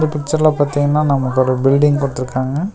இந்த பிச்சர்ல பாத்தீங்னா நமக்கு ஒரு பில்டிங் குடுத்துற்க்காங்க.